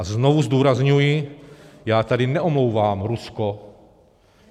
A znovu zdůrazňuji, já tady neomlouvám Rusko.